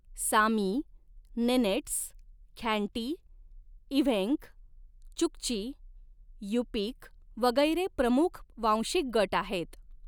Sami Nenets Khanty Evenk Chukchi Yupik वगैरे प्रमुख वांशिक गट आहेत.